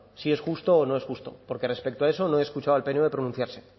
si es justo o no es justo porque respecto a eso no he escuchado al pnv pronunciarse